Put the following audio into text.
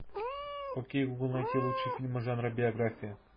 окей гугл найти лучшие фильмы жанра биография